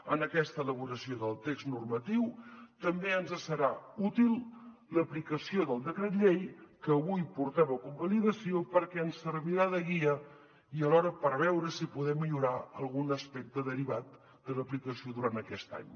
en aquesta elaboració del text normatiu també ens serà útil l’aplicació del decret llei que avui portem a convalidació perquè ens servirà de guia i alhora per veure si en podem millorar algun aspecte derivat de l’aplicació durant aquest any